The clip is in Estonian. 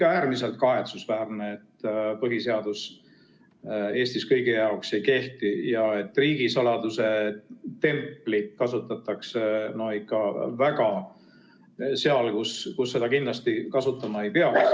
On äärmiselt kahetsusväärne, et põhiseadus Eestis kõigi jaoks ei kehti ja et riigisaladuse templit kasutatakse ka seal, kus seda kindlasti kasutama ei pea.